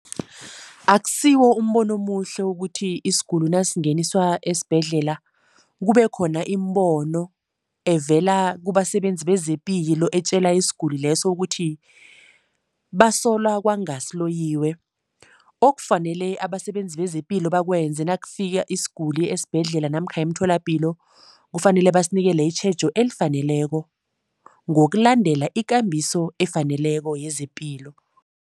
Akusiwo umbono omuhle ukuthi isiguli nasingeniswa esibhedlela, kubekhona imibono evela kubasebenzi bezePilo etjela isiguli leso ukuthi basola kwanga siloyiwe. Okufanele abasebenzi bezePilo bakwenze nakufika isiguli esibhedlela namkha emtholapilo, kufanele basinikele itjhejo elifaneleko ngokulandela ikambiso efaneleko yezePilo.